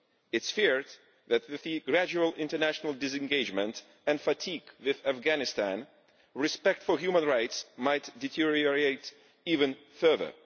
It is feared that, with the gradual international disengagement and fatigue with Afghanistan, respect for human rights might deteriorate even further.